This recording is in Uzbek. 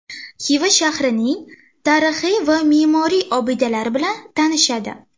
Xiva shahrining tarixiy va me’moriy obidalari bilan tanishadi.